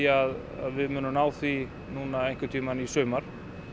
að við munum ná því núna einhvertíma í sumar